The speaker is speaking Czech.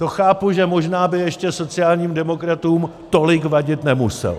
To chápu, že možná by ještě sociálním demokratům tolik vadit nemuselo.